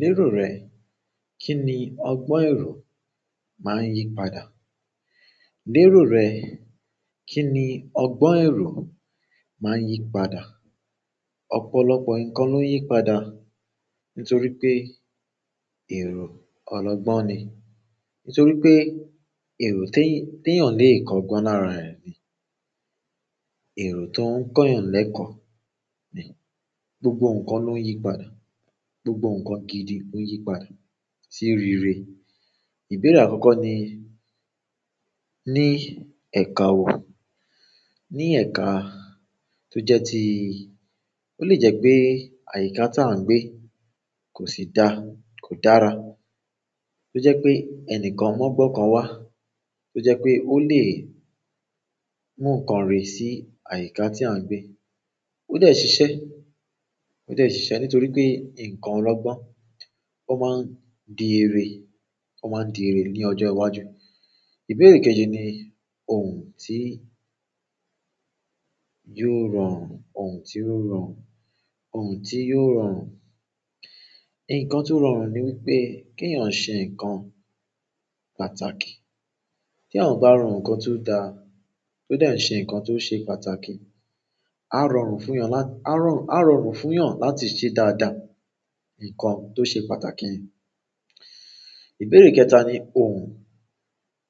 Lérò rẹ, kí ni ọgbọ́n èrò máa ń yí padà? Lérò rẹ, kí ni ọgbọ́n èrò máa ń yí padà? Ọ̀pọ̀lọpọ̀ nǹkan ló ń yí padà nítorí pé èrò ọlọgbọ́n ni. Nítorí pé èrò te, teèyàn le kọ́gbọ́n lára ẹ̀ ni. Èrò tó ń kọ́yàn l'ẹ́kọ̀ ni. Gbogbo nǹkan ló ń yí padà. Gbogbo nǹkan gidi ló ń yí padà sí rere. Ìbéèrè àkọ́kọ́ ni, ní ẹ̀ka wò? Ní ẹ̀ka tó jẹ́ ti, ó lè jẹ́ pé àyíká tà ń gbé kò sì daá, kò dára. Tó jẹ́ pé ẹnìkan mọ̀gbọ́n kan wá, tó jẹ́ pé ó lè mú nǹkan rè sí àyíká tí à ń gbé. Ó dẹ́ ṣiṣẹ́, ó dẹ́ ṣiṣẹ́ nítorí pé nǹkan ọlọ́gbọ́n ó máa ń di irè, ó máa ń di irè ní ọjọ́ iwájú. Ìbéèrè kejì ni òhùn tí yóò rọrùn, òhùn tí yóò rọrùn, òhùn tí yóò rọrùn. Ǹkan tó rọrùn ni wípé kèeyàn ṣe ǹkan pàtàkì. Tí àwòn bá ro ǹkan tó daa, tó dẹ́ ń ṣe ǹkan tó ṣe pàtàkì. A rọrùn funyan la, a rọrùn, a rọrùn funyan láti se e dáadáa, nkan to se pàtàkì ìbéèrè kẹta ni òhùn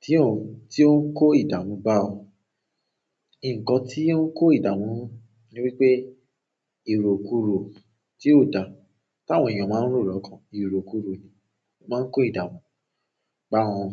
tí òun, tí ó ń kó ìdààmú bá ọ. Nkan ti o n ko idamu ni wípé iròkúró tí ò dàa, táwọn èeyàn máa ń rò lọ́kàn, iròkúró ni. Ó máa ń kó ìdààmú bá wọn.